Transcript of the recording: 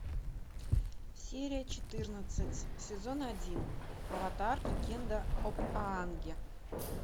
серия четырнадцать сезон один аватар легенда об аанге